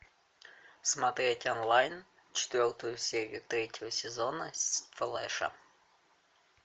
смотреть онлайн четвертую серию третьего сезона флэша